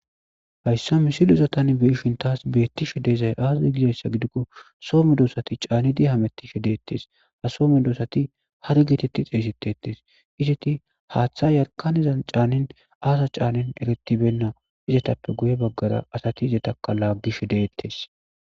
Hayssa misilizotan beishin taas beettishe deezay aazai gizayssa gidikko soome doosati caanidi hamettishe deettes ha soome doosati har gitetti xeeysetetes izeti haaththa yarkanizan caanin aasa caanin eretibenna izetappe guye baggara asati izetaka laaggish deettes.